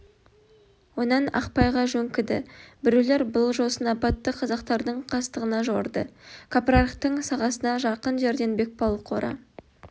онан ақпайға жөңкіді біреулер бұл жосын апатты қазақтардың қастығына жорыды кәпірарықтың сағасына жақын жерден бекбауыл қора